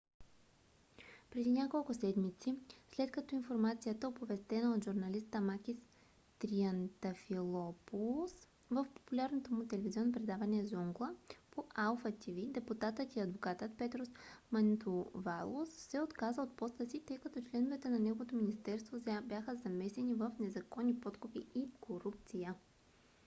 преди няколко седмици след като информацията оповестена от журналиста макис триантафилопулос в популярното му телевизионно предаване zoungla по алфа тв депутатът и адвокат петрос мантувалос се отказа от поста си тъй като членове на неговото министерство бяха замесени в незаконни подкупи и корупция